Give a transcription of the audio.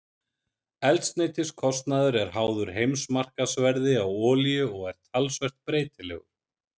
Eldsneytiskostnaður er háður heimsmarkaðsverði á olíu og er talsvert breytilegur.